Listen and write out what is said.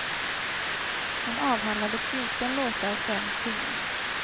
Hon avhandlade fjorton låtar på en timme.